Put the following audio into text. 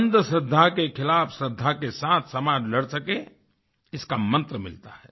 अंधश्रद्धा के खिलाफ श्रद्धा के साथ समाज लड़ सके इसका मंत्र मिलता है